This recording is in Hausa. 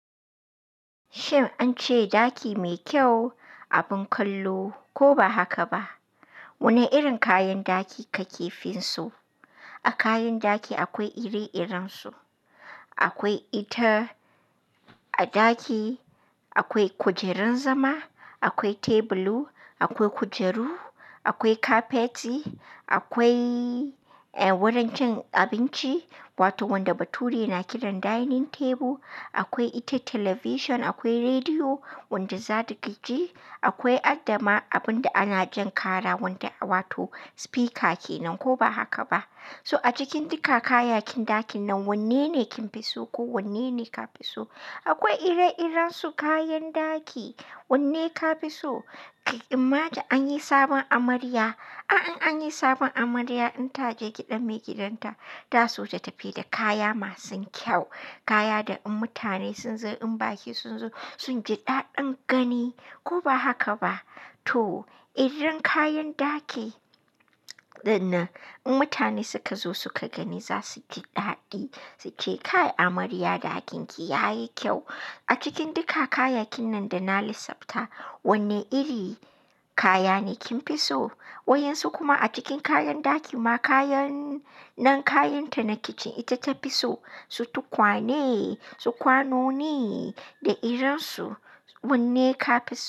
Shin an ce ɗaki mai kyau abin kallo ko ba haka ba? Wane irin kayan ɗaki ka ke fi so? A kayan daki akwai ire-irensu. Akwai ita a ɗaki, akwai kujerar zama, akwai tebulu, akwai kujeru, akwai kafeti, akwai wurin cin abinci wato wanda bature na kiran dining table, akwai ita television, akwai rediyo wanda za ka ji, akwai adama abun da ana jan kara wanda wato speaker kenan ko ba haka ba. So a cikin duka kayakin ɗakin nan wanne ne kin fi so ko wanne ne ka fi so? Akwai ire-irensu kayan ɗaki. Wanne ka fi so? Ka imagi an yi sabon amarya. A'a in an yi sabon amarya in ta je gidan maigidanta, ta so ta tafi da kaya masu kyau. Kaya da in mutane sun zo in baƙi sun zo sun ji daɗin gani ko ba haka ba? To irin kayan ɗaki dinnan in mutane suka zo suka gani za su ji daɗi su ce kai amarya ɗakin ki ya yi kyau. A cikin duka kayakin nan da na lissafta wanne iri kaya ne kin fi so? Wai yin su kuma a cikin kayan ɗaki ma kayan nan kayan ta na kicin ita ta fi so su tukwane su kwano ne da irin su. Wanne ka fi so?